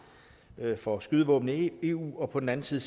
for skydevåben i eu og på den anden side